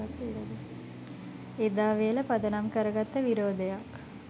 එදාවේල පදනම් කරගත්ත විරෝධයක්